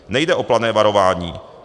Nejde o plané varování.